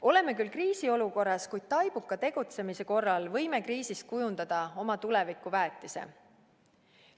Oleme küll kriisiolukorras, kuid taibuka tegutsemise korral võime kriisist kujundada oma tuleviku väetise.